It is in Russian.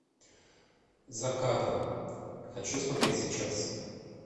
за кадром хочу смотреть сейчас